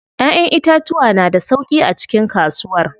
Ƴaƴan itatuwa na da sauƙi a cikin kasuwar.